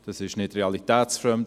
Das ist nicht realitätsfremd.